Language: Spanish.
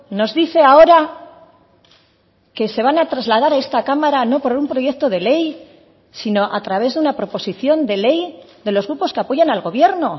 nos dice ahora que se van a trasladar a esta cámara no por un proyecto de ley sino a través de una proposición de ley de los grupos que apoyan al gobierno